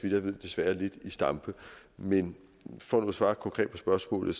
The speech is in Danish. jeg ved desværre lidt i stampe men for nu at svare konkret på spørgsmålet